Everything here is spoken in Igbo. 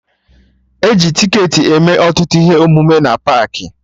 E ji ticketị eme ọtụtụ ihe omume na paakị